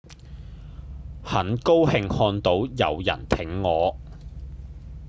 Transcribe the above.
很高興看到有人挺我